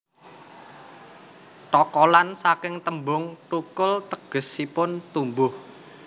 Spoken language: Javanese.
Thokolan saking tembung thukul tegesipun tumbuh